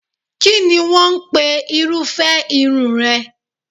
Kínni wọ́n ń pe irúfẹ́ irun rẹ?